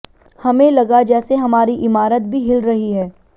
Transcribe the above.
हमें लगा जैसे हमारी इमारत भी हिल रही है